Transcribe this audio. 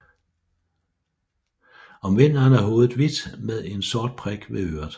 Om vinteren er hovedet hvidt med en sort prik ved øret